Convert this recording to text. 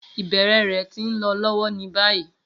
Ibẹrẹ rẹ ti nlọ lọwọ ni bayi.